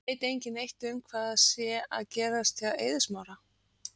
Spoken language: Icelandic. Veit engin neitt um hvað sé að gerast hjá Eiði Smára?